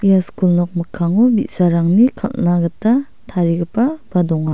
ia skul nok mikkango bi·sarangni kal·na gita tarigipaba donga.